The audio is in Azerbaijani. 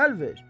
Əl ver.